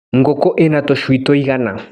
Ngũkũ ina tũcui tũigana.